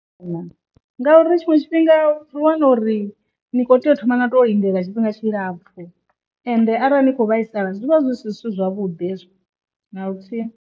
Ngauri tshiṅwe tshifhinga ri wana uri ni kho tea u thoma na to lindela tshifhinga tshi lapfu ende arali ni kho vhaisala zwivha zwi si zwithu zwavhuḓi hezwo na luthihi.